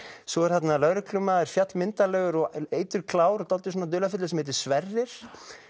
svo er þarna lögreglumaður fjallmyndarlegur og eiturklár dálítið svona dularfullur sem heitir Sverrir